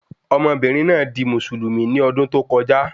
Ọmọbìnrin náà di Mùsùlùmí ní ọdún tó kọjá